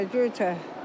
Göyçay, Göyçay.